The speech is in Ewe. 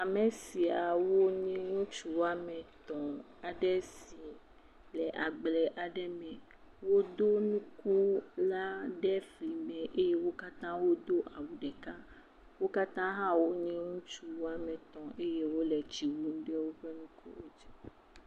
Ame soawo nye ŋutsu woame etɔ̃ aɖe si le agble aɖe me, wodo nuku la ɖe fli me eye wo katã wodo awu ɖeka. Wo katã hã wonye ŋutsua woame etɔ̃ eye tsi wum ɖe woƒe …